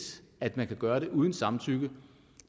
at man kan gøre det uden samtykke